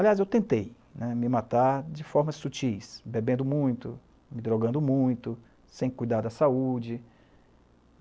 Aliás, eu tentei me matar de forma sutis, bebendo muito, me drogando muito, sem cuidar da saúde.